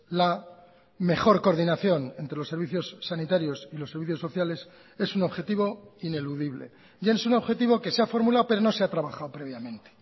la mejor coordinación entre los servicios sanitarios y los servicios sociales es un objetivo ineludible y es un objetivo que se ha formulado pero no se ha trabajado previamente